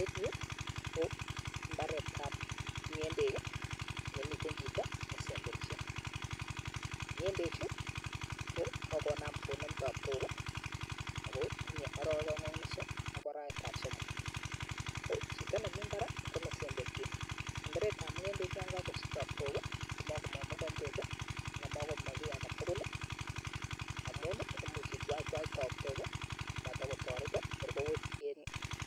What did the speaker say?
Eng Yu ko Mii mbaret ab ng'endek nemitei chito nee semberise ng'endek chu ko kokonam konem tabtok ako tinye arawek aeng ak nusu ak arawet ab somok kochito nemii imbar ko nesemberchin semberet ab ng'endek ya kangosich tatbok ko makomeche mokombet ana komamache kii age tugul amun imuch itwaitwai tabtok korkowech